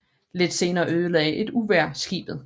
Lidt senere ødelagde et uvejr skibet